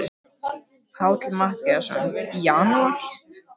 Páll Matthíasson: Í janúar?